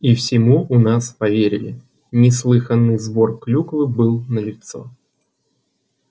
и всему у нас поверили неслыханный сбор клюквы был налицо